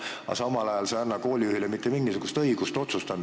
Aga samal ajal sa ei anna koolijuhile mitte mingisugust õigust otsustada.